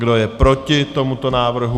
Kdo je proti tomuto návrhu?